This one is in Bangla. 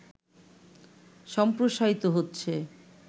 সম্প্রসারিত হচ্ছে